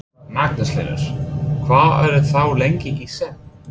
Magnús Hlynur: Hvað eru þau lengi í senn?